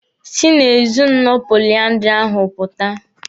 Si na ezinụlọ poliandiri ahụ pụta!